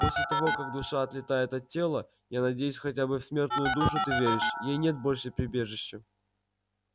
после того как душа отлетает от тела я надеюсь хотя бы в смертную душу ты веришь ей нет больше прибежища